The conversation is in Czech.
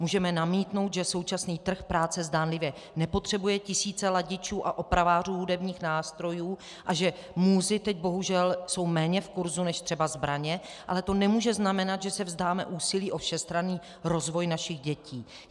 Můžeme namítnout, že současný trh práce zdánlivě nepotřebuje tisíce ladičů a opravářů hudebních nástrojů a že múzy teď, bohužel, jsou méně v kurzu než třeba zbraně, ale to nemůže znamenat, že se vzdáme úsilí o všestranný rozvoj našich dětí.